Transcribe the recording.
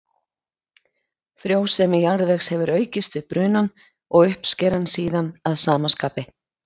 Frjósemi jarðvegs hefur aukist við brunann og uppskeran síðan að sama skapi.